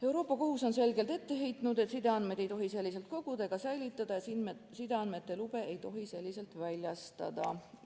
Euroopa Liidu Kohus on selgelt ette heitnud, et sideandmeid ei tohi selliselt koguda ega säilitada ja sideandmete lube ei tohi selliselt väljastada.